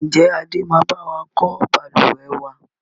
Ń jẹ́ Adé máa bawa kọ́ Balùwẹ́ wàá?